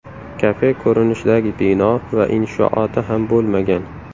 Kafe ko‘rinishidagi bino va inshooti ham bo‘lmagan.